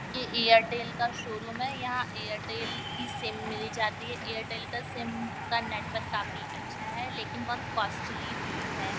यह एयरटेल का शोरूम है यहाँ एयरटेल की सिम मिल जाती है एयरटेल का सिम का नेटवर्क काफी अच्छा है लेकिन बहुत कोस्त्ली भी है।